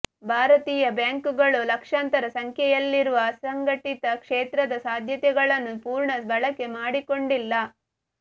ಭಾರತೀಯ ಬ್ಯಾಂಕುಗಳು ಲಕ್ಷಾಂತರ ಸಂಖ್ಯೆಯಲ್ಲಿರುವ ಅಸಂಘಟಿತ ಕ್ಷೇತ್ರದ ಸಾಧ್ಯತೆಗಳನ್ನು ಪೂರ್ಣ ಬಳಕೆ ಮಾಡಿಕೊಂಡಿಲ್ಲ